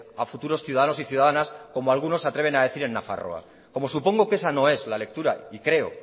a futuros ciudadanos y ciudadanas como algunos se atreven a decir en nafarroa como supongo que esa no es la lectura y creo